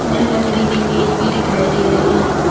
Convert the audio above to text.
यहां लकड़ी की मेज भी दिखाई दे रही है।